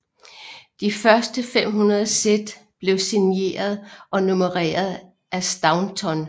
De første 500 sæt blev signeret og nummeret af Staunton